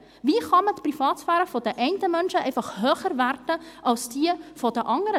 Wie kann man die Privatsphäre der einen Menschen höher gewichten als diejenige der anderen?